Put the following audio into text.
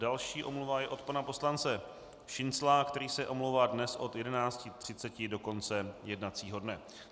Další omluva je od pana poslance Šincla, který se omlouvá dnes od 11.30 do konce jednacího dne.